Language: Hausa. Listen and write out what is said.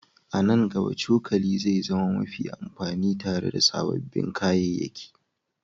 A nan gaba, cokali zai zama mafi amfani tare da sababbin kayayyaki